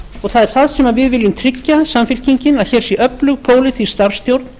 það er það sem við viljum tryggja samfylkingin að hér sé öflug pólitísk starfsstjórn